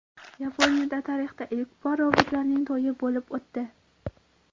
Yaponiyada tarixda ilk bor robotlarning to‘yi bo‘lib o‘tdi.